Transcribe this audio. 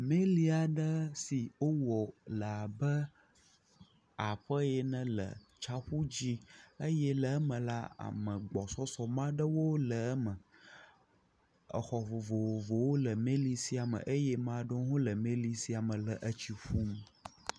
Meli aɖe si wowɔ le abe aƒe ene le tsaƒu dzi eye le eme la ame gbɔsɔsɔme aɖewo le eme. Exɔ vovovowo le meli sia me eye ame aɖewo le meli sia me le etsi ƒum.